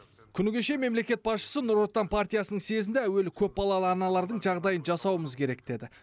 күні кеше мемлекет басшысы нұр отан партиясының съезінде әуелі көпбалалы аналардың жағдайын жасауымыз керек деді